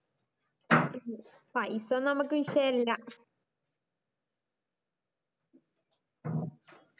പയിസയൊന്നും ഞമ്മക്കൊരി വിഷയല്ല